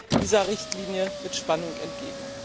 Ich sehe dieser Richtlinie mit Spannung entgegen!